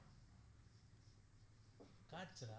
কাঁচরা